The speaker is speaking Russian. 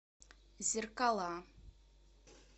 зеркала